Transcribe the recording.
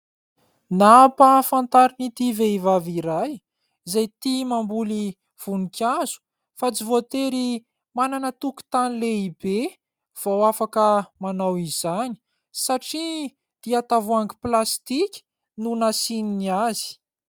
Nampahafantarina ity vehivavy iray izay tia mamboly voninkazo fa tsy voatery manana tokotany lehibe vao afaka manao izany satria dia tavoahangy plastika no nasiany azy.